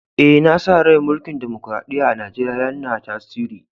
Eh, na sa rai mulki'n dimokuradiyya'n a'Nijeriya yanna tasiri.